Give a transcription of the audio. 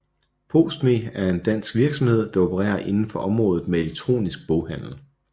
PostMe er en dansk virksomhed der opererer indenfor området med Elektronisk handel